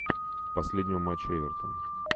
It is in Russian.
последнего матча эвертон